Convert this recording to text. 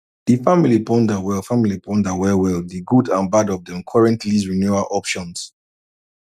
di family ponder well family ponder well well di good and bad of dem current lease renewal options